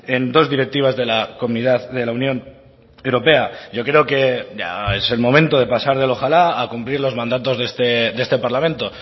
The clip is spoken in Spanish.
en dos directivas de la comunidad de la unión europea yo creo que ya es el momento de pasar del ojalá a cumplir los mandatos de este parlamento